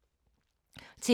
TV 2